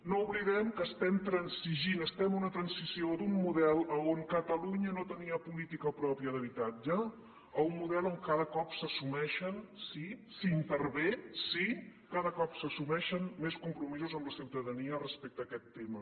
no oblidem que estem transigint estem en una transició d’un model en què catalunya no tenia política pròpia d’habitatge a un model en què cada cop s’assumeixen sí s’hi intervé sí cada cop s’assumeixen més compromisos amb la ciutadania respecte a aquest tema